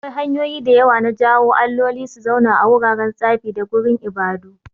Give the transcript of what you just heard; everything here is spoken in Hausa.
Akwai hanyoyi da yawa na jawo alloli su zauna a wuraren tsafi da gurin ibadu.